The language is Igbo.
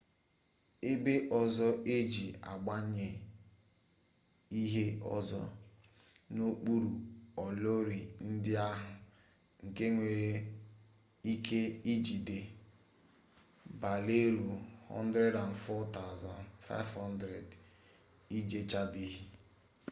ebe ọzọ e ji agbanye ihe ọzọ n'okpuru olori ndị ahụ nke nwere ike ijigide barelụ 104,500 ejuchabeghị